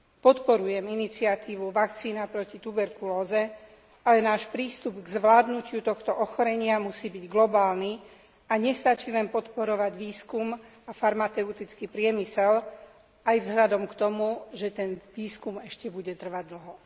Podporujem iniciatívu Vakcína proti tuberkulóze ale náš prístup k zvládnutiu tohto ochorenia musí byť globálny, a nestačí len podporovať výskum a farmaceutický priemysel, aj vzhľadom k tomu, že ten výskum ešte bude trvať dlho.